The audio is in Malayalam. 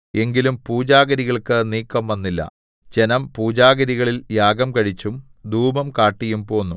എങ്കിലും പൂജാഗിരികൾക്ക് നീക്കംവന്നില്ല ജനം പൂജാഗിരികളിൽ യാഗം കഴിച്ചും ധൂപം കാട്ടിയും പോന്നു